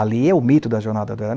Ali é o mito da jornada do